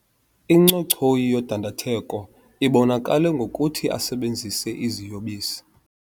Incochoyi yodandatheko ibonakale ngokuthi asebenzise iziyobisi.